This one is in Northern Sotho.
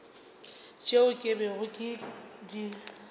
tšeo ke bego ke di